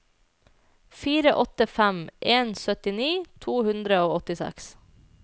fire åtte fem en syttini to hundre og åttiseks